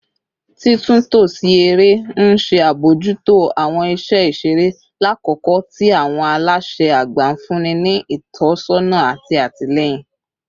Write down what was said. Titunto si ere n ṣe abojuto awọn iṣẹ iṣere, lakoko ti awọn alaṣẹ agba nfunni ni itọsọna ati atilẹyin